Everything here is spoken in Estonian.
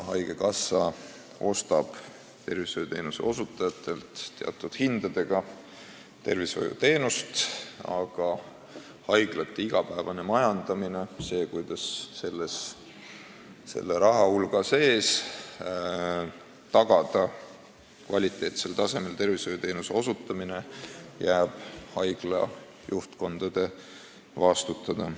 Haigekassa ostab neilt teatud hindadega tervishoiuteenust, aga igapäevane majandamine – see, kuidas tagada selle raha eest kvaliteetsel tasemel arstiabi – jääb haigla juhtkondade vastutada.